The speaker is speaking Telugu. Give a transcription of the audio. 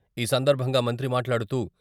ఈ సందర్భంగా మంత్రి మాట్లాడుతూ...